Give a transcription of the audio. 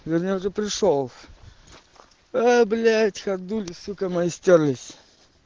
вернее уже пришёл а блять ходули сука мои стёрлись